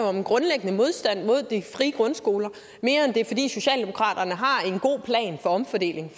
om en grundlæggende modstand mod de frie grundskoler mere end det er fordi socialdemokraterne har en god plan for omfordeling